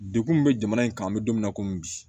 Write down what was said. Dekun min bɛ jamana in kan an bɛ don min na komi bi